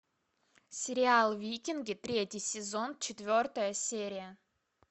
сериал викинги третий сезон четвертая серия